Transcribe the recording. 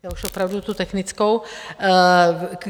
Já už opravdu tu technickou.